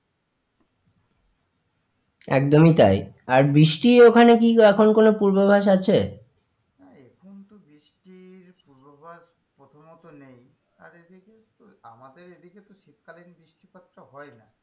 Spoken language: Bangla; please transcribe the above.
একদমই তাই আর বৃষ্টি ওখানে কি এখন কোনো পূর্বাভাস আছে? না এখন তো বৃষ্টির পূর্বাভাস প্রথমত নেই আর এদিকে আমাদের এদিকে তো শীতকালীন বৃষ্টিপাতটা হয় না।